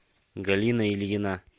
галина ильина